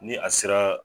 Ni a sera